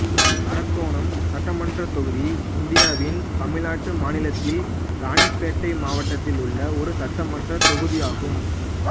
அரக்கோணம் சட்டமன்றத் தொகுதி இந்தியாவின் தமிழ்நாடு மாநிலத்தில் இராணிப்பேட்டை மாவட்டத்தில் உள்ள ஒரு சட்டமன்றத் தொகுதி ஆகும்